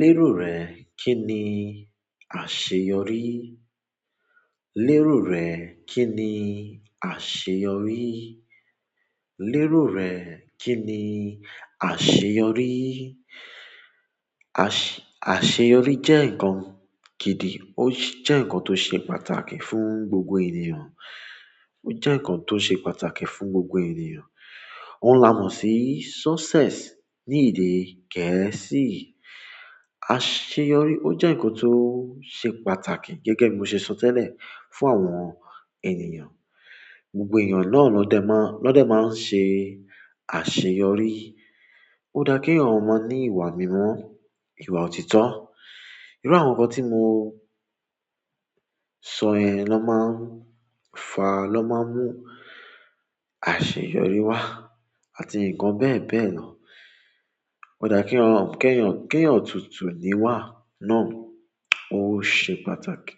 Lérò rẹ kí ni àṣeyọrí? Lérò rẹ kí ni àṣeyọrí? Lérò rẹ kí ni àṣeyọrí? Àṣeyọrí jẹ́ ǹkan gídì, ó jẹ́ ǹkan tó ṣe pàtàkì fún gbogbo ènìyàn. Ó jẹ́ ǹkan tó ṣe pàtàkì fún gbogbo ènìyàn. Oun la mo si success ni èdè gẹ̀ẹ́sì, àṣeyọrí o je nkan to se pàtàkì gẹ́gẹ́ bi mo se so tele fún àwọn ènìyàn. Gbogbo èeyàn náà lọ́dẹ máa, lọ́dẹ máa ń ṣe àṣeyọrí. Ó dá kí eeyan mọ ní ìwà mímọ́, ìwà òtítọ́. Iru àwọn nkan ti mo so yen loma n fa, loma mu àṣeyọrí wa àti nkan beebee lo. Ó dá kí yan, kẹ́yan, kẹ́yan tutù níwà náà ó ṣe pàtàkì.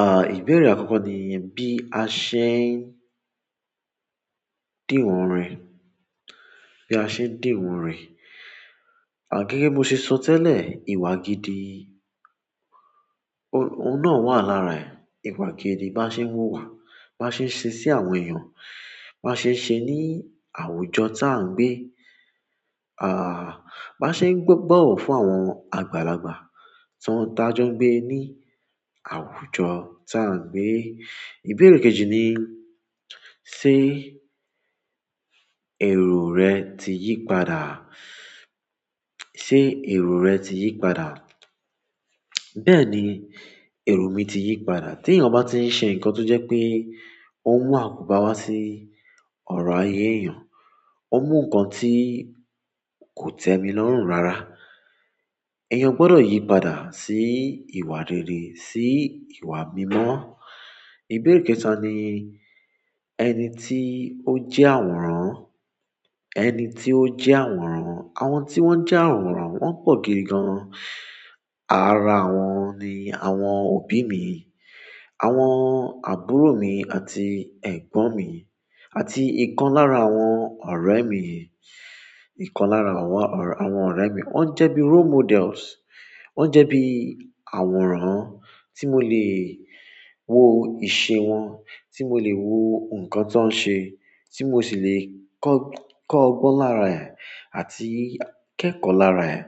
À, ìbéèrè àkọ́kọ́ nì, bí a ṣe ń dìwọ̀n rẹ̀, bí a ṣe ń dìwọ̀n rẹ̀. À, gẹ́gẹ́ bí mo ṣe sọ tẹ́lẹ̀, ìwà gidi, ó óun náà wà lára ẹ̀. Ìwà gidi bá ṣe ń wú wà, bá ṣe ń ṣe sí àwọn èèyàn, bá ṣe ń ṣe ní àwùjọ tà ń gbé, à, bá ṣe ń gbọ́-bọ̀wọ̀ fún àwọn àgbàlagbà tí wọ́n tajọ́ n gbé ní àwùjọ tà ń gbé. Ìbéèrè kejì ni, ṣé èrò rẹ ti yípadà? Ṣé èrò rẹ ti yípadà? Bẹ́ẹ̀ ni èrò mi ti yípadà. Tí èeyàn bá ti ń ṣe ǹkan tó jẹ́ pé ó ń mú àkóbá wá sí ọ̀rọ̀ ayé èeyàn, ó mú ǹkan tí kò tẹ́mi lọ́rùn rárá, èèyàn gbọdọ̀ yípadà sí ìwà rere, sí ìwà mímọ́. Ìbéèrè kẹta ni, ẹni tí ó jẹ́ àwòrán, ẹni tí ó jẹ́ àwòrán. Àwọn tí wọ́n jẹ́ àwòrán wọ́n pọ̀ gidi gan. Ara àwọn ni àwọn òbí mi, àwọn àbúrò mi àti egbon mi àti ikan lára àwọn ọ̀rẹ́ mi, ikan lára àwọn, àwọn ọ̀rẹ́. Wọ́n jẹ́ bí role models, wọ́n jẹ́ bí àwòrán tí mo lè wo ìṣe wọn, tí mo lè wo nǹkan tó ń ṣe, tí mo sì le kọ́-kọ́ ogbọ́n lára ẹ̀ àti kẹ́kọ̀ọ́ lára ẹ̀.